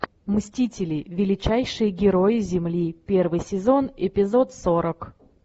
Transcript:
мстители величайшие герои земли первый сезон эпизод сорок